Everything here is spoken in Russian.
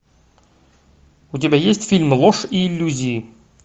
у тебя есть фильм ложь и иллюзии